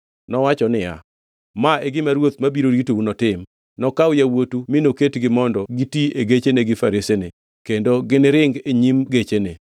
Nowacho niya, “Ma e gima ruoth mabiro ritou notim: Nokaw yawuotu mi noketgi mondo giti e gechene gi faresene, kendo giniringi e nyim gechene.